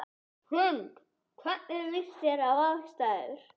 Hrund: Hvernig líst þér á aðstæður?